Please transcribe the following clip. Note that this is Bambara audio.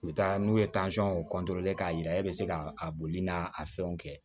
U bɛ taa n'u ye k'a yira e bɛ se ka a boli n'a a fɛnw kɛ